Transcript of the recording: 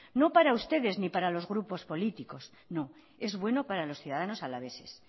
no para ustedes ni para los grupos políticos no es bueno para los ciudadanos alaveses